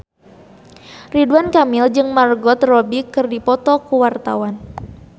Ridwan Kamil jeung Margot Robbie keur dipoto ku wartawan